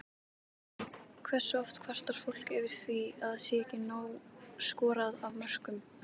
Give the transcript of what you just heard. Hversu oft kvartar fólk yfir því að það sé ekki nóg skorað af mörkum?